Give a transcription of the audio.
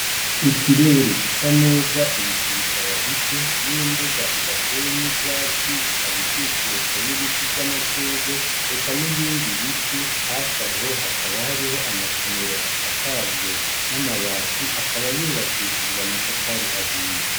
Ikirere gisa neza, ibicu bikaba bike n'imbuga idateyemwo ivyatsi ikaba ikikujwe n'ibiti vyamashurwe eka n'ibindi biti. Hafibaho hakaba hakaba hariho amasomero asakajwe n'amabati akaba yubakishijwe amatafari ahiye.